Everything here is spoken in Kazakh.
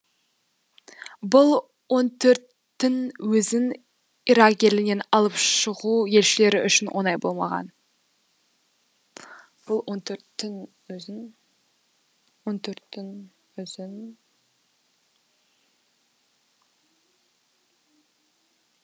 бұл он төрттің өзін ирак елінен алып шығу елшілер үшін оңай болмаған